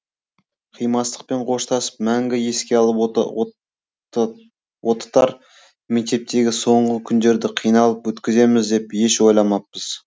қимастықпен қоштасып мәңгі еске алып отытар мектептегі соңғы күндерді қиналып өткіземіз деп еш ойламаппыз